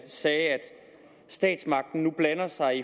sagde statsmagten blander sig